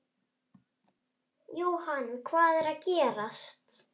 Jóhann, hvað er að gerast?